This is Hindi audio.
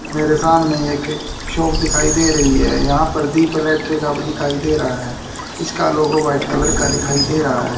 मेरे सामने एक शॉप दिखाई दे रहीं हैं यहाँ पर दीप इलेक्ट्रिक अब दिखाई दे रहा हैं इसका लोगो व्हाइट कलर का दिखाई दे रहा हैं।